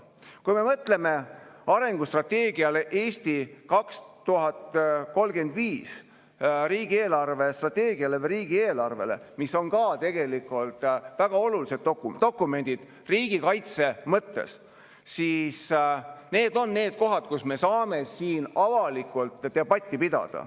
Kui me mõtleme arengustrateegiale "Eesti 2035", riigi eelarvestrateegiale või riigieelarvele, mis on ka tegelikult väga olulised dokumendid riigikaitse mõttes, siis need on need kohad, mille üle me saame avalikult debatti pidada.